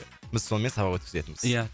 біз сонымен сабақ өткізетінбіз ия